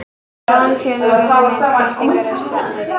Í báðum tilvikum er minnsti þrýstingur í stefnu reksins.